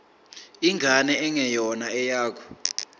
ingane engeyona eyakho